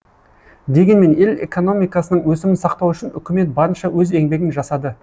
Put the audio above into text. дегенмен ел экономикасының өсімін сақтау үшін үкімет барынша өз еңбегін жасады